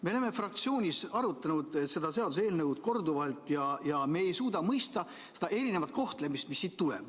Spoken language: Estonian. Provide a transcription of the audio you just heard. Me oleme fraktsioonis seda seaduseelnõu korduvalt arutanud ja me ei suuda mõista seda erinevat kohtlemist, mis sellest tuleneb.